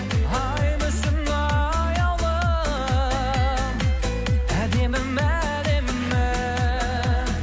ай мүсін аяулым әдемім әдемім